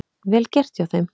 Vel gert hjá þeim.